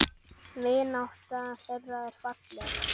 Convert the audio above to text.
Vinátta þeirra var falleg.